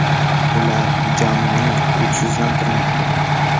Ular jamoani kuchsizlantirmoqda.